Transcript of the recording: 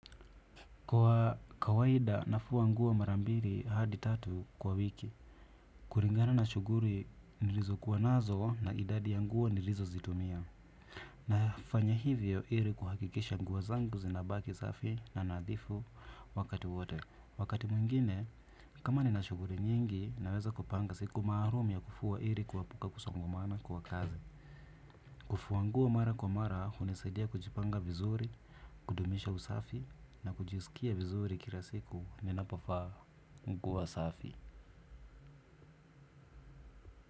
Kwa kawaida nafua nguo marambiri hadi tatu kwa wiki. Kuringana na shuguri nilizo kuwa nazo na idadi ya nguo nilizo zitumia na fanya hivyo iri kuhakikisha nguo zangu zinabaki safi na nadhifu wakati wote. Wakati mwingine, kama ni na shughuri nyingi naweza kupanga siku maalum ya kufua iri kuepuka kusongamana kwa kazi. Kufua nguo mara kwa mara, hunisaidia kujipanga vizuri, kudumisha usafi na kujiskia vizuri kilasiku ni napofaa nguo safi.